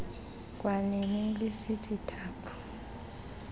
kwanini lisithi thaphu